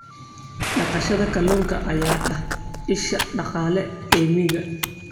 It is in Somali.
Dhaqashada kalluunka ayaa ah isha dhaqaale ee miyiga.